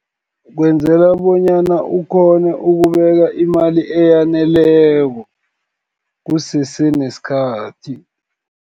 Kwenzela bonyana, ukghonu ukubeka imali eyaneleko kusese nesikhathi.